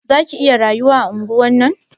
Za ki iya rayuwa a anguwan nan?